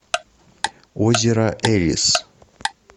озеро элис